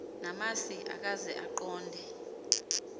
namasi ukaze aqonde